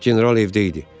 General evdə idi.